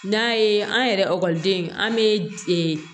N'a ye an yɛrɛ an bɛ